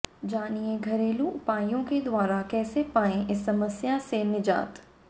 जानिए घरेलू उपायों के द्वारा कैसे पाएं इस समस्या से निजात